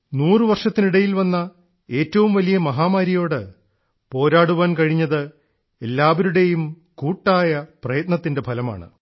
നൂറുവർഷത്തിനിടയിൽ വന്ന ഏറ്റവും വലിയ മഹാമാരിയോട് നമുക്ക് പോരാടൻ കഴിഞ്ഞത് എല്ലാപേരുടേയും കൂട്ടായ പ്രയത്നത്തിൻറെ ഫലമായാണ്